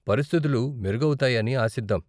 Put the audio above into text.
పరిస్థితులు మెరుగవుతాయని ఆశిద్దాం.